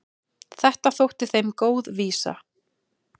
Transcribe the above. Þetta þótti þeim góð vísa.